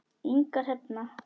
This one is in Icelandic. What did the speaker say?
Inga Hrefna.